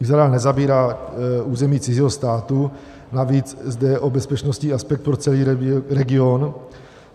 Izrael nezabírá území cizího státu, navíc zde jde o bezpečnostní aspekt pro celý region.